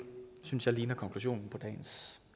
synes jeg ligner konklusionen på dagens